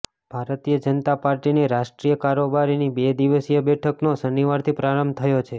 ભારતીય જનતા પાર્ટીની રાષ્ટ્રીય કારોબારીની બે દિવસીય બેઠકનો શનિવારથી પ્રારંભ થયો છે